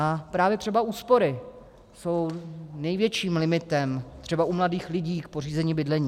A právě třeba úspory jsou největším limitem třeba u mladých lidí k pořízení bydlení.